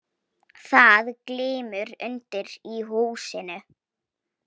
Það glymur undir í húsinu.